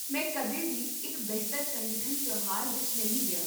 ਮੈਂ ਕਦੇ ਵੀ ਇੱਕ ਬਿਹਤਰ ਸੰਗਠਿਤ ਤਿਉਹਾਰ ਵਿੱਚ ਨਹੀਂ ਗਿਆ